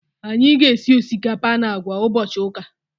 Anyị ga- esi osikapa na àgwà ụbọchị ụka.